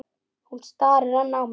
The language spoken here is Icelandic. Hún starir enn á mig.